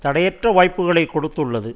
தடையற்ற வாய்ப்புக்களை கொடுத்துள்ளது